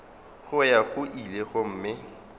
go ya go ile gomme